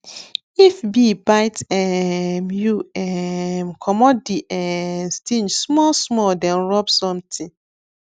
if bee bite um you um comot the um sting small small then rub something